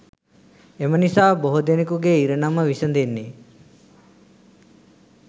එම නිසා බොහෝ දෙනෙකුගේ ඉරණම විසඳෙන්නේ